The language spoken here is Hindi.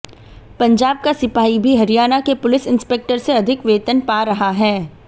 पंजाब का सिपाही भी हरियाणा के पुलिस इंस्पेक्टर से अधिक वेतन पा रहा है